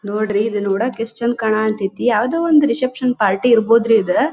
ನೋಡ್ರಿ ಇದು ನೋಡಕ್ಕೆ ಎಷ್ಟು ಚಂದ್ ಕಾಣತತಿ ಯಾವುದೋ ಒಂದು ರಿಸೆಪ್ಶನ್ ಪಾರ್ಟಿ ಇರ್ಬೊದ್ರಿ ಇದು .